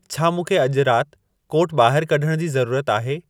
छा मूंखे अॼु राति कोर्टु ॿाहिरु कढण जी ज़रूरत आहे